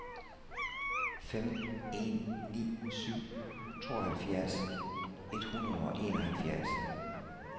fem en ni syv tooghalvfjerds et hundrede og enoghalvfjerds